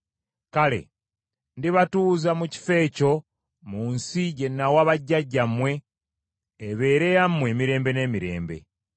kale ndibatuuza mu kifo ekyo mu nsi gye nawa bajjajjammwe ebeere yammwe emirembe n’emirembe.